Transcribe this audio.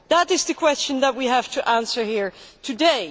That is the question that we have to answer here today.